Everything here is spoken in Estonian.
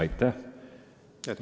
Aitäh!